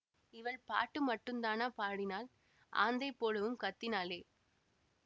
இவள் பாட்டு மட்டுந்தானா பாடினாள் ஆந்தை போலவும் கத்தினாளே